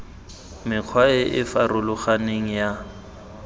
mekgwa e e farologaneng ya